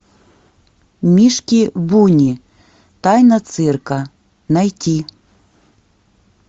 мишки буни тайна цирка найти